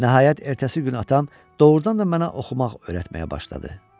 Nəhayət ertəsi gün atam doğrudan da mənə oxumaq öyrətməyə başladı.